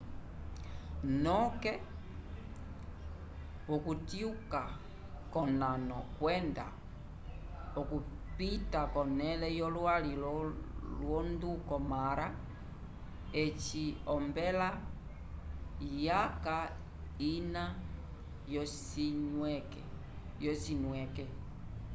noke vokutyuka konano kwenda okupita vonele yo lwi londuko mara eci ompela yaca ina yo cinwike